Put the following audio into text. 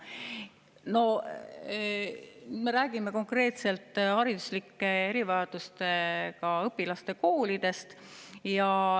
No me räägime konkreetselt hariduslike erivajadustega õpilaste koolidest.